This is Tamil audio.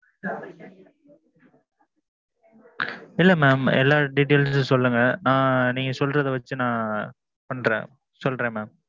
இல்ல mam. எல்லா details ம் சொல்லுங்க. நான் நீங்க சொல்லறதை வச்சு நான் பன்றேன் சொல்றேன் mam.